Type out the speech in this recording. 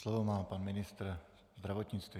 Slovo má pan ministr zdravotnictví.